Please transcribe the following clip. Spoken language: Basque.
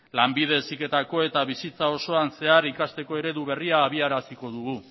lanbide heziketa eta bizitza osoan zehar ikasteko eredu berria abiaraziko dugu